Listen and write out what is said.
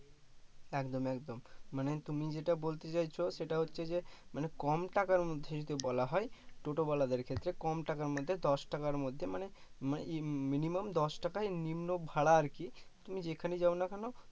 একদম একদম মানে তুমি যেটা বলতে চাইছো সেটা হচ্ছে যে মানে কম টাকার মধ্যে যদি বলা হয় টোটোওয়ালাদের ক্ষেত্রে কম টাকার মধ্যে দশ টাকার মধ্যে মানে minimum দশ টাকাই নিম্ন ভাড়া আর কি, তুমি যেখানেই যায় না কেনো